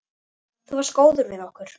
Þú varst góður við okkur.